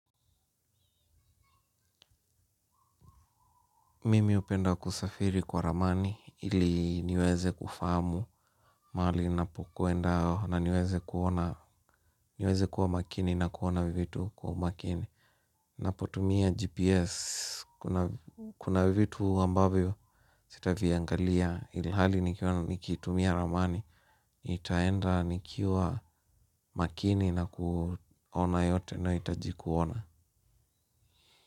Mimi hupenda kusafiri kwa ramani ili niweze kufahamu mahali napokwenda na niweze kuwa makini na kuona vitu kwa umakini. Napotumia GPS kuna vitu ambavyo sitaviangalia ilhali nikitumia ramani. Nitaenda nikiwa makini na kuona yote nahitaji kuona.